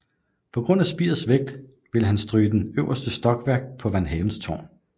På grund af spirets vægt ville han stryge det øverste stokværk på van Havens tårn